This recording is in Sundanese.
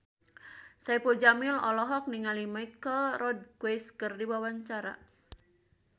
Saipul Jamil olohok ningali Michelle Rodriguez keur diwawancara